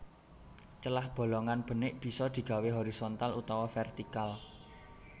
Celah bolongan benik bisa digawé horizontal utawa vertikal